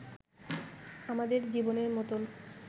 আমাদের জীবনের মতোন